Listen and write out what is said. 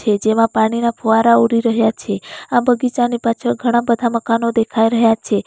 જેમાં પાણીના ફુવારા ઉડી રહ્યા છે આ બગીચાની પાછળ ઘણા બધા મકાનો દેખાય રહ્યા છે.